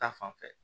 Ta fanfɛ